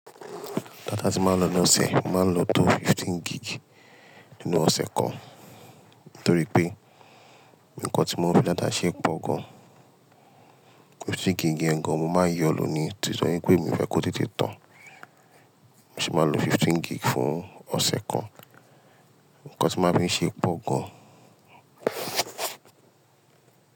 Data tí màá ń lo loṣẹ̀, màá ń lo tó fifteen gig nínú ọ̀ṣẹ̀ kan. Nítorí pé nǹkan tí mò ń fi data ṣe pọ̀ gan. Fifteen gig yẹ̀ngan mo máa ń yọ lọ ní, titorí pé mi ò fẹ́ kó tètè tán. Mo sì máa ń lo fifteen gig fún ọ̀ṣẹ̀ kan. Ǹkan tí màá ń fi ń ṣe pọ̀ gan.